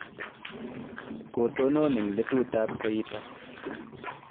kotonon eng' letutab koita